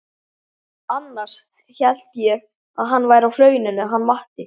Annars hélt ég að hann væri á Hrauninu hann Matti.